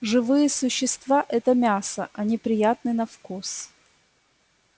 живые существа это мясо они приятны на вкус